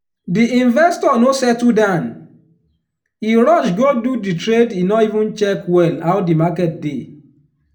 di investor no settle down e rush go do di trade e no even check well how di market dey.